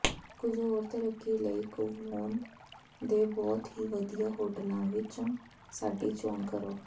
ਕੁੱਝ ਹੋਰ ਤਰੱਕੀ ਲਈ ਕੁਵਲੋਨ ਦੇ ਬਹੁਤ ਹੀ ਵਧੀਆ ਹੋਟਲਾਂ ਵਿੱਚੋਂ ਸਾਡੀ ਚੋਣ ਕਰੋ